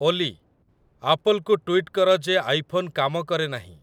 ଓଲି, ଆପଲ୍‌କୁ ଟ୍ୱିଟ୍ କର ଯେ ଆଇଫୋନ୍ କାମ କରେ ନାହିଁ